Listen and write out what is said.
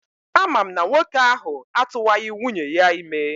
Ama m na nwoke ahụ atụwaghị nwunye ya ime.